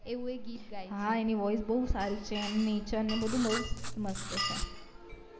હા એની voice બૌ સારી છે એમની ચ ને બધું બૌ મસ્ત છે